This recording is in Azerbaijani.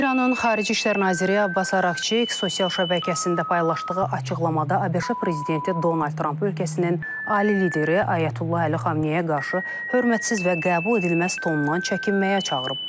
İranın xarici İşlər Naziri Abbas Araqçı sosial şəbəkəsində paylaşdığı açıqlamada ABŞ prezidenti Donald Tramp ölkəsinin ali lideri Ayətullah Əli Xamneyə qarşı hörmətsiz və qəbuledilməz tonundan çəkinməyə çağırıb.